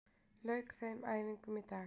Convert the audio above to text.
Lauk þeim æfingum í dag